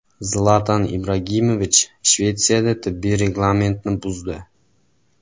Zlatan Ibragimovich Shvetsiyada tibbiy reglamentni buzdi.